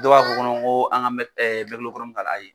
Dɔw b'a fɔ kɔnɔ ko an ka k'ala ayi.